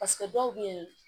dɔw bɛ yen